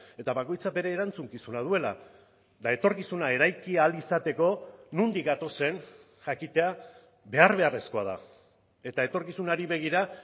eta bakoitzak bere erantzukizuna duela eta etorkizuna eraiki ahal izateko nondik gatozen jakitea behar beharrezkoa da eta etorkizunari begira